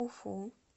уфу